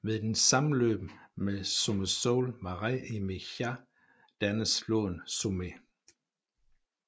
Ved dens sammenløb med Someșul Mare i Mica dannes floden Someș